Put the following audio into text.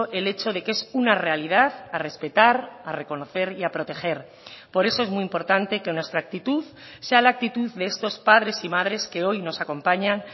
el hecho de que es una realidad a respetar a reconocer y a proteger por eso es muy importante que nuestra actitud sea la actitud de estos padres y madres que hoy nos acompañan